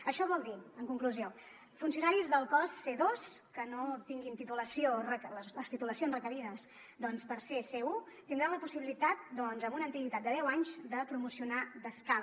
això vol dir en conclusió que funcionaris del cos c2 que no tinguin les titulacions requerides per ser c1 tindran la possibilitat amb una antiguitat de deu anys de promocionar d’escala